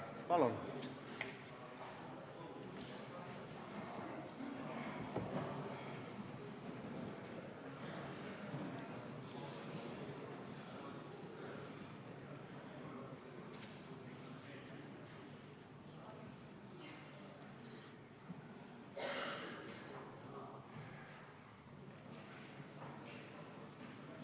Palun!